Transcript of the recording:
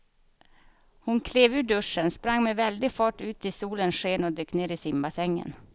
Hon klev ur duschen, sprang med väldig fart ut i solens sken och dök ner i simbassängen.